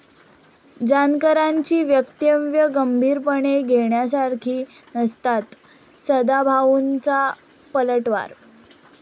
जानकरांची वक्तव्यं गंभीरपणे घेण्यासारखी नसतात, सदाभाऊंचा पलटवार